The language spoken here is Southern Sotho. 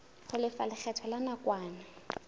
ho lefa lekgetho la nakwana